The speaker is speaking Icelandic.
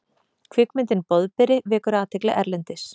Kvikmyndin Boðberi vekur athygli erlendis